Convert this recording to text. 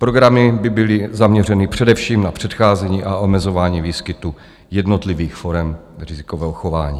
Programy by byly zaměřeny především na předcházení a omezování výskytu jednotlivých forem rizikového chování.